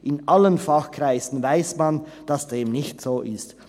In allen Fachkreisen weiss man, dass dem nicht so ist.